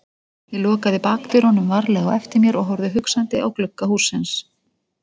Ég lokaði bakdyrunum varlega á eftir mér og horfði hugsandi á glugga hússins.